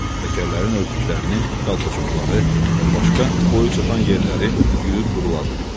Təkərlərin örtüklərini, qalpaçokları və başqa boyu çatan yerləri yuyub quruladı.